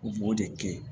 U b'o de kɛ